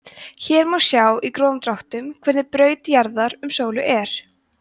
hér má sjá í grófum dráttum hvernig braut jarðar um sólu er